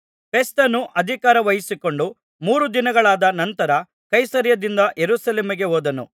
ಫೆಸ್ತನು ಅಧಿಕಾರ ವಹಿಸಿಕೊಂಡು ಮೂರು ದಿನಗಳಾದ ನಂತರ ಕೈಸರೈಯದಿಂದ ಯೆರೂಸಲೇಮಿಗೆ ಹೋದನು